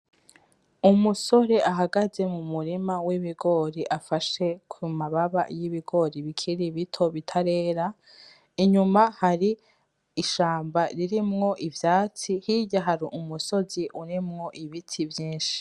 Umusore ahagaze mu murima w'ibigori afashe ku mababa y'ibigori bikiri bito bitarera inyuma hari ishamba ririmwo ivyatsi hirya hari umusozi urimwo ibiti vyishi.